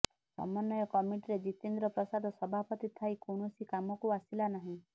ସମନ୍ବୟ କମିଟିରେ ଜିତେନ୍ଦ୍ର ପ୍ରସାଦ ସଭାପତି ଥାଇ କୌଣସି କାମକୁ ଆସିଲା ନାହିଁ